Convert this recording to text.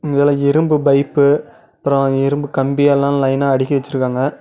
இங்கன இரும்பு பைப்பு அப்றோ இரும்பு கம்பியெல்லா லைனா அடுக்கி வெச்சிருக்காங்க.